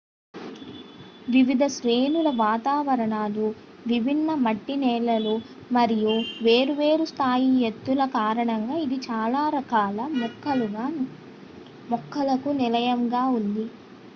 వివిధ శ్రేణుల వాతావరణాలు విభిన్న మట్టి నేలలు మరియు వేరువేరు స్థాయి ఎత్తుల కారణంగా ఇది చాలా రకాల మొక్కలకు నిలయంగా ఉంది